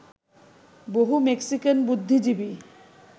বহু মেক্সিকান বুদ্ধিজীবী